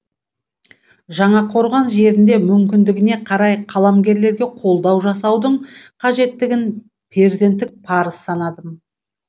жаңақорған жерінде мүмкіндігіне қарай қаламгерлерге қолдау жасаудың қажеттігін перзенттік парыз санадым